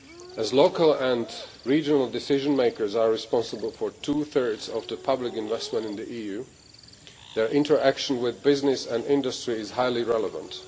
As local and regional decision makers are responsible for two thirds of public investment in the EU, their interaction with business and industry is highly relevant.